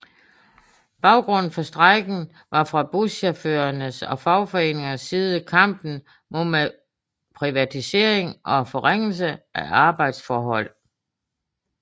Baggrunden for strejken var fra buschaufførernes og fagforeningernes side kampen mod privatisering og forringelse af arbejdsforhold